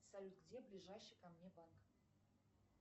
салют где ближайший ко мне банк